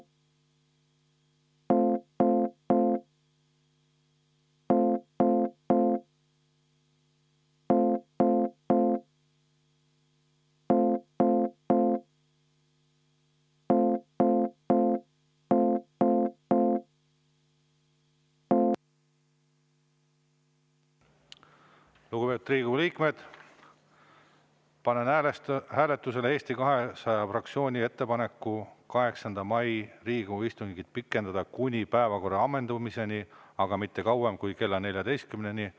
Lugupeetud Riigikogu liikmed, panen hääletusele Eesti 200 fraktsiooni ettepaneku 8. mai Riigikogu istungit pikendada kuni päevakorra ammendumiseni, aga mitte kauem kui kella 14-ni.